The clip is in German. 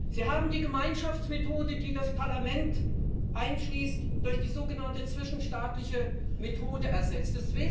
Sie haben die Gemeinschaftsmethode, die das Parlament einschließt, durch die sogenannte zwischenstaatliche Methode ersetzt.